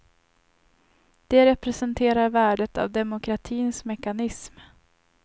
Det representerar värdet av demokratins mekanism.